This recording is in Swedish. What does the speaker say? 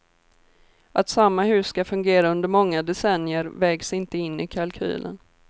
Att samma hus ska fungera under många decennier vägs inte in i kalkylen.